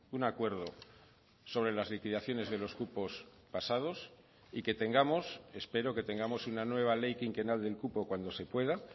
un acuerdo sobre las liquidaciones de los cupos pasados y que tengamos espero que tengamos una nueva ley quinquenal del cupo cuando se pueda